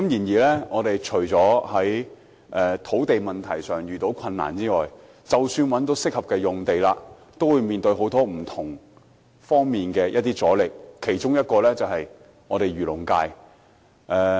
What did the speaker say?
政府在土地問題上遇到很大困難，而即使找到合適用地，亦面對各方面的阻力，其中之一來自漁農界。